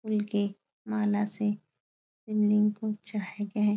फूल की माला से शिवलिंग को चढ़ाया गया है।